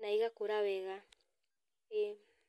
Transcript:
na igakũra wega, ĩĩ.